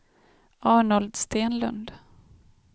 Arnold Stenlund